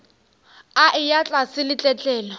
a eya tlase le tletlolo